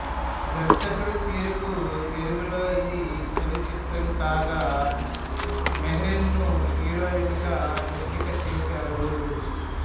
దర్శకుడు తిరుకు తెలుగులో ఇది తొలిచిత్రం కాగా మెహ్రీన్ ను హీరోయిన్ గా ఎంపికచేశారు